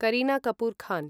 Kareena Kapoor Khan